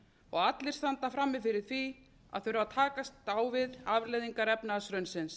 og allir standa frammi fyrir því að þurfa að takast á við afleiðingar efnahagshrunsins